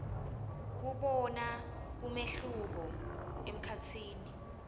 kubona umehluko emkhatsini